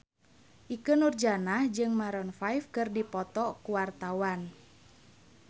Ikke Nurjanah jeung Maroon 5 keur dipoto ku wartawan